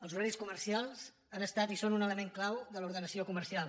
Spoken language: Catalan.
els horaris comercials han estat i són un element clau de l’ordenació comercial